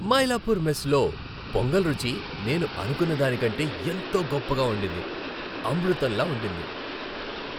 మైలాపూర్ మెస్లో పొంగల్ రుచి నేను అనుకున్నదాని కంటే ఎంతో గొప్పగా ఉండింది. అమృతంలా ఉండింది.